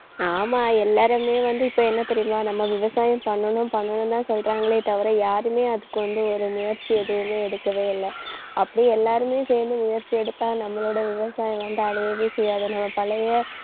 ஆமா எல்லாருமே வந்து இப்ப என்ன தெரியுமா நம்ம விவசாயம் பண்ணணும் பண்ணனும்தான் சொல்றாங்களே தவிர யாருமே அதுக்கு ஒரு முயற்சி எதுவுமே எடுக்கவே இல்லை. அப்படியே எல்லாருமே சேர்ந்து முயற்சி எடுத்தா நம்மளோட விவசாயம் வந்து அழியவே செய்யாது. நம்ம பழைய